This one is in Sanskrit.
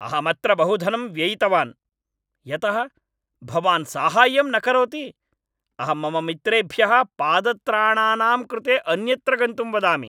अहम् अत्र बहु धनं व्ययितवान्। यतः भवान् साहाय्यं न करोति, अहं मम मित्रेभ्यः पादत्राणानां कृते अन्यत्र गन्तुं वदामि।